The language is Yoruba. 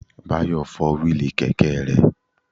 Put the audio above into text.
Báyọ̀ fọ́ wíìlì kẹ̀kẹ́ rẹ̀